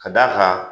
Ka d'a kan